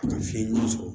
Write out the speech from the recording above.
A ka fiɲɛ ɲuman sɔrɔ